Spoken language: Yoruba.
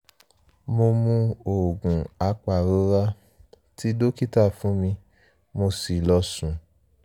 mo mu oògùn apàrora tí dókítà fún mi mo sì lọ sùn